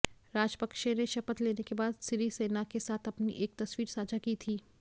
राजपक्षे ने शपथ लेने के बाद सिरिसेना के साथ अपनी एक तस्वीर साझा की थी